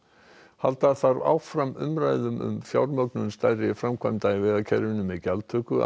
halda þarf áfram umræðu um fjármögnun stærri framkvæmda í vegakerfinu með gjaldtöku að